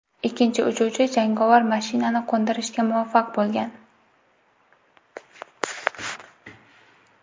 Ikkinchi uchuvchi jangovar mashinani qo‘ndirishga muvaffaq bo‘lgan.